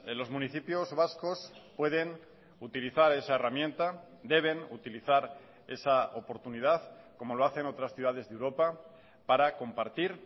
los municipios vascos pueden utilizar esa herramienta deben utilizar esa oportunidad como lo hacen otras ciudades de europa para compartir